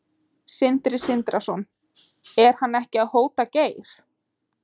Sindri Sindrason: Er hann ekki að hóta Geir?